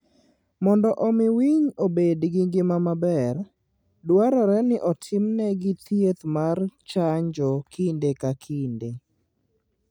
Mondo omi winy obed gi ngima maber, dwarore ni otimnegi thieth mar chanjo kinde ka kinde.